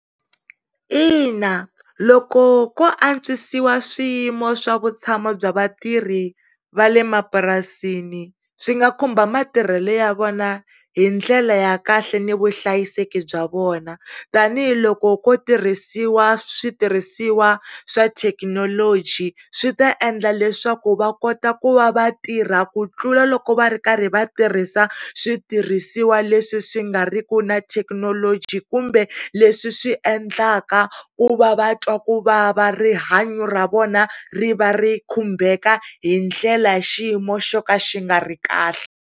Ina loko ko antswisiwa swiyimo swa vutshamo bya vatirhi vale mapurasini swi nga khumba matirhelo ya vona hi ndlela ya kahle ni vuhlayiseki bya vona tanihiloko ko tirhisiwa switirhisiwa swa thekinoloji swi ta endla leswaku va kota ku va vatirha ku tlula loko va rikarhi vatirhisa switirhisiwa leswi swi ngariki na thekinoloji kumbe leswi endlaka ku va vantwa kuvava va rihanya ra vona ri va ri khumbeka hi ndlela ya xiyimo xo ka xi nga ri kahle.